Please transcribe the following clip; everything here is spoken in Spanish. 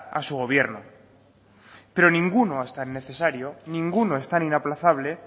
a su gobierno pero ninguno es tan necesario ninguno es tan inaplazable